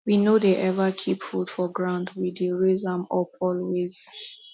we no dey ever keep food for ground we dey raise am up always